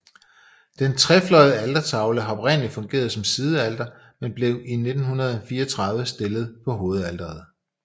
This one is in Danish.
Den trefløjede altertavle har oprindelig fungeret som sidealter men blev i 1934 stillet på hovedalteret